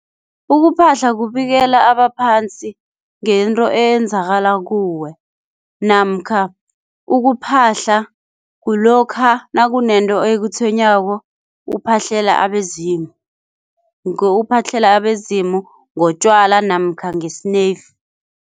Ukuphahla kubikela abaphansi ngento eyenzakala kuwe namkha ukuphahla kulokha nakunento ekutshwenyako uphahlela abezimu, ngokuphahlela abezimu ngotjwala namkha ngesineyifu.